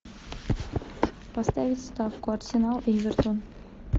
поставить ставку арсенал эвертон